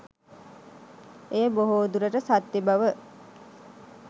එය බොහෝ දුරට සත්‍ය බව